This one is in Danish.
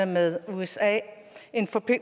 med usa